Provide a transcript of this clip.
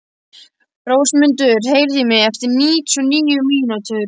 Rósmundur, heyrðu í mér eftir níutíu og níu mínútur.